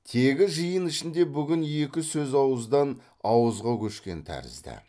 тегі жиын ішінде бүгін екі сөз ауыздан ауызға көшкен тәрізді